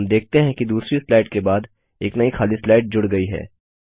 हम देखते हैं कि दूसरी स्लाइड के बाद एक नई खाली स्लाइड जुड़ गई है